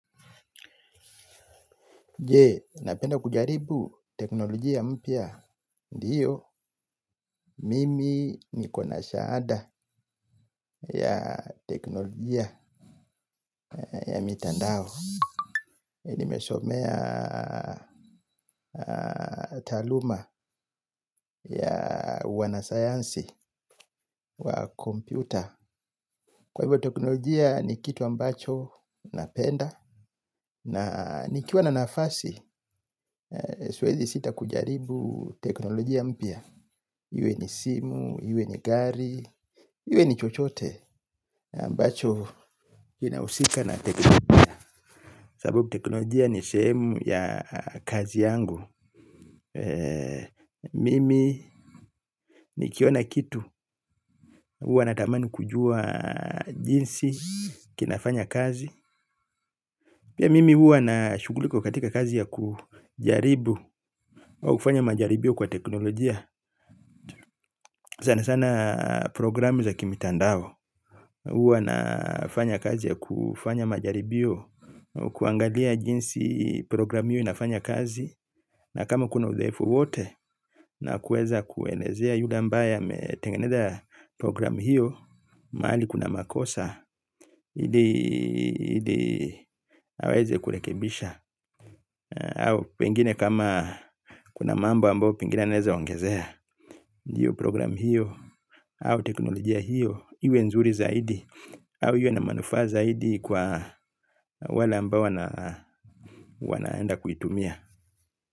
Je, napenda kujaribu teknolojia mpia, ndiyo, mimi nikona shaada ya teknolojia ya mitandao. Nimesomea taluma ya wanasayansi wa kompyuta. Kwa hivyo teknolojia ni kitu ambacho napenda. Na nikiwa na nafasi, siwezi sita kujaribu teknolojia mpia. Iwe ni simu, iwe ni gari, iwe ni chochote ambacho inausika na teknolojia. Sababu teknolojia ni semu ya kazi yangu. Mimi ni kiona kitu. Uwa natamani kujua jinsi kinafanya kazi. Pia mimi uwa na shuguliko katika kazi ya kujaribu kufanya majaribio kwa teknolojia. Sana sana programu za kimitandao. Uwa nafanya kazi ya kufanya majaribio. Kuangalia jinsi programi hiyo inafanya kazi. Na kama kuna udhaifu wote. Na kueza kuenezea yule ambaye ametengeneza program hiyo mahali kuna makosa ili aweze kurekebisha. Au pengine kama kuna mambo ambayo pengine anaweza ongezea. Ndiyo programu hiyo au teknolojia hiyo iwe nzuri zaidi, au iwe na manufaa zaidi kwa wale ambao wanaenda kuitumia.